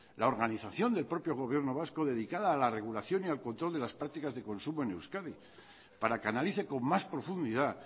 la organización del propio gobierno vasco dedicada a la regulación y al control de las prácticas de consumo en euskadi para que analice con más profundidad